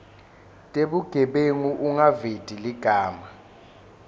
tebugebengu ungaveti ligama